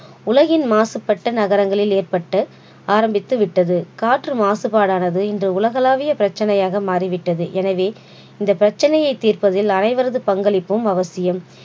உலகின் மாசுபட்ட நகரங்களில் ஏற்பட்டு ஆரம்பித்து விட்டது காற்று மாசுபாடானது இன்று உலகளாவிய பிரச்சனையாக மாறிவிட்டது எனவே இந்த பிரச்சனையை தீர்ப்பதில் அனைவரது பங்களிப்பும் அவசியம்